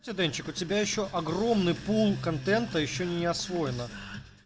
ся денчик у тебя ещё огромный пул контента ещё не освоено